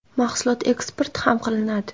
Mahsulot eksport ham qilinadi.